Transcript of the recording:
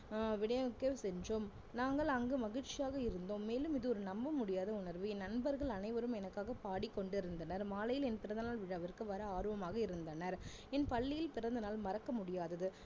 அஹ் விநியோகிக்க சென்றோம் நாங்கள் அங்கு மகிழ்ச்சியாக இருந்தோம் மேலும் இது ஒரு நம்ப முடியாத உணர்வு என் நண்பர்கள் அனைவரும் எனக்காக பாடிக்கொண்டிருந்தனர் மாலையில் என் பிறந்தநாள் விழாவிற்கு வர ஆர்வமாக இருந்தனர் என் பள்ளியில் பிறந்தநாள் மறக்க முடியாதது